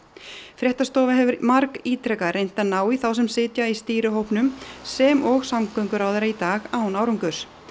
fréttastofa hefur margítrekað reynt að ná í þá sem sitja í stýrihópnum sem og samgönguráðherra í dag án árangurs